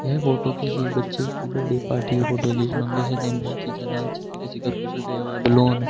ये फोटो किसी बच्चे की बर्थडे पार्टी की फोटो है जिसमें हम से ज्यादा अच्छे तरीके से घर को सजाया हुआ है बैलून --